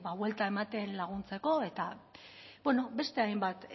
buelta ematen laguntzeko eta bueno beste hainbat